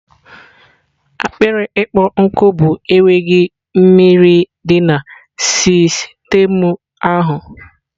akpịrị ịkpọ nkụ bụ enweghị mmiri di na sistemu ahụ